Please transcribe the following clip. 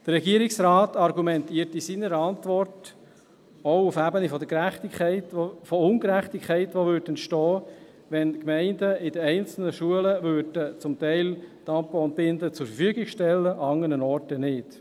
Der Regierungsrat argumentiert in seiner Antwort auch auf der Ebene der Ungerechtigkeit, die entstehen würde, wenn die Gemeinden in einzelnen Schulen teilweise Tampons und Binden zur Verfügung stellen würden und andernorts nicht.